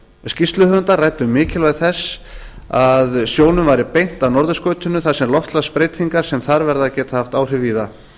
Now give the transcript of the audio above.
skýrsluhöfundar ræddu um mikilvægi þess að sjónum væri beint að norðurskautinu þar sem loftslagsbreytingar sem þar verða geta haft áhrif víða